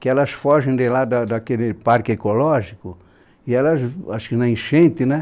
Que elas fogem de lá da daquele parque ecológico e elas v, acho que na enchente, né?